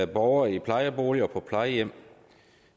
borgere i plejeboliger og på plejehjem